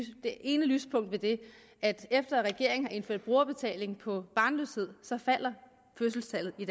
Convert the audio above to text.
det ene lyspunkt ved det at efter at regeringen har indført brugerbetaling på barnløshed falder fødselstallet i